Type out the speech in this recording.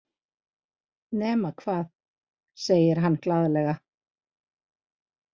Nema hvað, segir hann glaðlega.